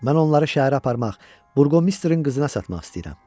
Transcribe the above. Mən onları şəhərə aparmaq, burğomisterin qızına satmaq istəyirəm.